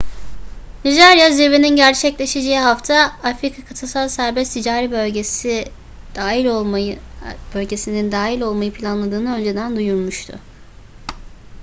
nijerya zirvenin gerçekleşeceği hafta afcfta'ya dahil olmayı planladığını önceden duyurmuştu